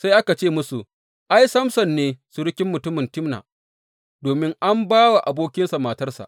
Sai aka ce musu, Ai, Samson ne surukin mutumin Timna, domin an ba wa abokinsa matarsa.